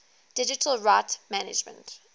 digital rights management